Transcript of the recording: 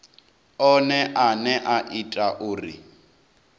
one ane a ita uri